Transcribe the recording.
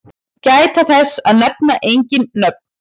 Gæta þess að nefna engin nöfn.